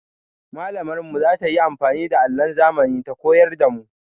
Mallamar mu za ta yi amfani da allon zamani ta koyar da mu.